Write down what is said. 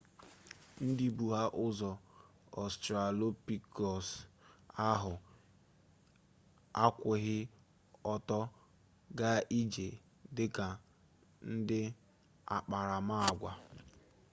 ndị bụ ha ụzọ ọstralopitekus ahụ akwụghị ọtọ gaa ije dị ka n'akparamagwa